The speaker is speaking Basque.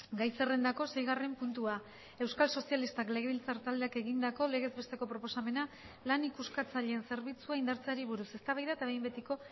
gai zerrendako seigarren puntua euskal sozialistak legebiltzar taldeak egindako legez besteko proposamena lan ikuskatzaileen zerbitzua indartzeari buruz eztabaida eta behin betiko